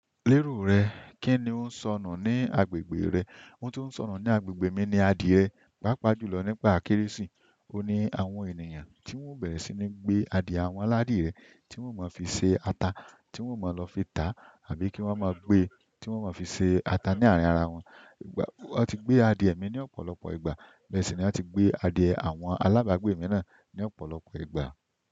Lérò rẹ, kí ni ó ń sọnù ní agbègbè rẹ? Ohun tó ń sọnù ní agbègbè mi ni adìẹ, pàápàá jùlọ nígbà Kérésì. Ó ní àwọn ènìyàn tí wọ́n bẹ̀rẹ̀ sí ní gbé adìẹ àwọn aládìẹ tí wọ́n má fi ṣe ata, tí wọ́n máa lọ fi ta àbí kí wọ́n má gbé, tí wọ́n máa fi ṣe ata ní àárín ara wọn. Wọ́n ti gbé adìẹ mi ní ọ̀pọ̀lọpọ̀ ìgbà, bẹ́ẹ̀ sì ni wọ́n ti gbé adìẹ àwọn alábàágbé mi náà ní ọ̀pọ̀lọpọ̀ ìgbà.